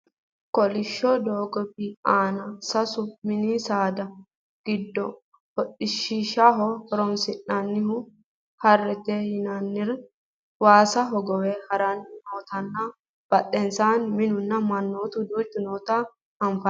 Kolishsho doogp aana sasu mininsaada giddo hodhishshaho horonsi'nannihu harrete yiannirira waasa hogowe haranni nootanna badhensaanni minunna mannu duuchu noota anfanni